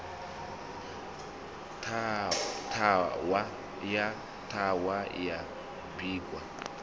ṱhahwa ya ṱhuhwa ya bikwa